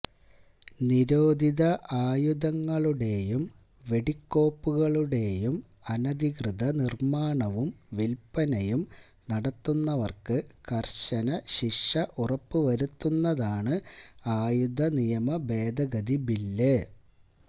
നിരോധിത ആയുധങ്ങളുടെയും വെടിക്കോപ്പുകളുടെയും അനധികൃത നിര്മ്മാണവും വില്പ്പനയും നടത്തുന്നവര്ക്ക് കര്ശന ശിക്ഷ ഉറപ്പു വരുത്തുന്നതാണ് ആയുധ നിയമ ഭേദഗതി ബില്ല്